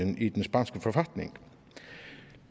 i den spanske forfatning